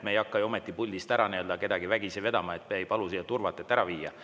Me ei hakka ju ometi puldist kedagi vägisi ära vedama, me ei palu siia turvat, et ta ära viia.